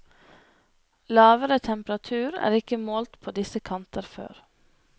Lavere temperatur er ikke målt på disse kanter før.